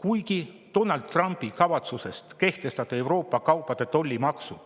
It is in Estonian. Kuigi Donald Trumpi kavatsus kehtestada Euroopa kaupadele tollimaksud